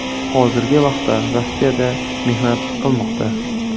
Hozirgi vaqtda Rossiyada mehnat qilmoqda.